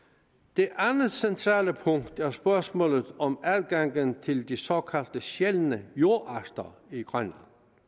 det andet centrale punkt er spørgsmålet om adgangen til de såkaldt sjældne jordarter i grønland